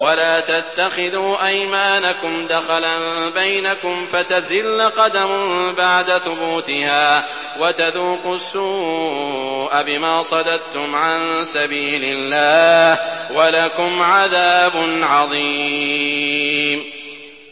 وَلَا تَتَّخِذُوا أَيْمَانَكُمْ دَخَلًا بَيْنَكُمْ فَتَزِلَّ قَدَمٌ بَعْدَ ثُبُوتِهَا وَتَذُوقُوا السُّوءَ بِمَا صَدَدتُّمْ عَن سَبِيلِ اللَّهِ ۖ وَلَكُمْ عَذَابٌ عَظِيمٌ